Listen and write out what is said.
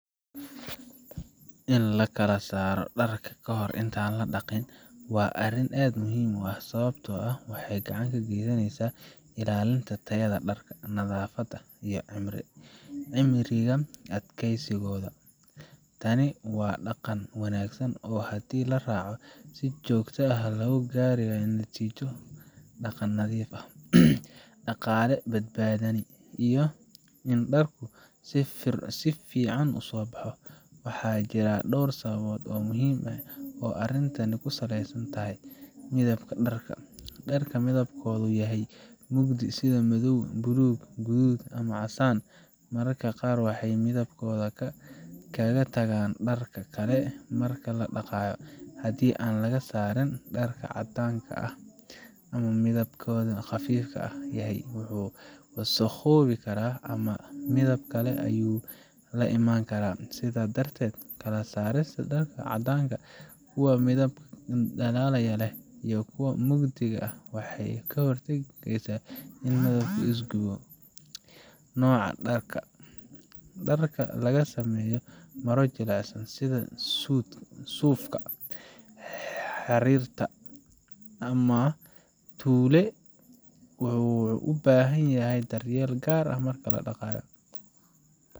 In la kala saaro dharka ka hor inta aan la dhaqayn waa arrin aad muhiim u ah, sababtoo ah waxay gacan ka geysanaysaa ilaalinta tayada dharka, nadaafadda, iyo cimriga adeegsigooda. Tani waa dhaqan wanaagsan oo haddii la raaco si joogto ah, lagu gaari karo natiijo dhaqan nadiif ah, dhaqaale badbaadin, iyo in dharku si fiican u soo baxo. Waxaa jira dhowr sababood oo muhiim ah oo arrintani ku saleysan tahay: Midabka dharka: Dharka midabkoodu yahay mugdi sida madow, buluug, guduud, iyo casaan, mararka qaar waxay midabkooda kaga tagaan dharka kale marka la dhaqayo. Haddii aan la kala saarin, dharka caddaanka ama midabkiisu khafiifka yahay wuu wasakhoobi karaa ama midab kale ayuu la iman karaa. Sidaa darteed, kala saarista dharka caddaanka, kuwa midabka dhalaalaya leh, iyo kuwa mugdiga ah waxay ka hortagtaa in midab isu gudbiyo Nooca dharka: Dharka laga sameeyay maro jilicsan sida suufka, xariirta , ama tulle wuxuu u baahan yahay daryeel gaar ah marka la dhaqayo.